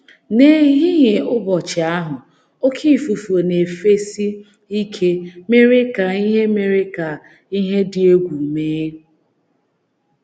N’ehihie ụbọchị ahụ, oké ifufe na - efesi ike mere ka ihe mere ka ihe dị egwu mee.